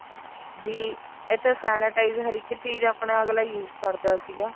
B ਇੱਥੇ sanitize ਹਰ ਇੱਕ ਚੀਜ ਆਪਣੇ ਅਗਲਾ use ਕਰਦਾ ਸੀਗਾ